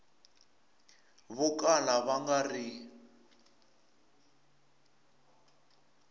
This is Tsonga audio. vo kala va nga ri